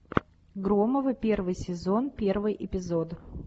громовы первый сезон первый эпизод